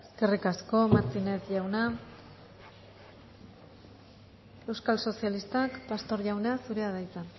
eskerrik asko martínez jauna euskal sozialistak pastor jauna zurea da hitza